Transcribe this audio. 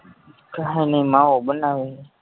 માવો બનાવે હે